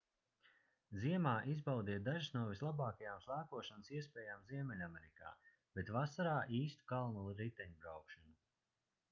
ziemā izbaudiet dažas no vislabākajām slēpošanas iespējām ziemeļamerikā bet vasarā īstu kalnu riteņbraukšanu